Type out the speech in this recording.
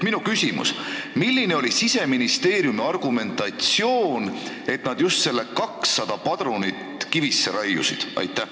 Minu küsimus: milline oli Siseministeeriumi argumentatsioon, kui nad just selle 200 padrunit kivisse raiusid?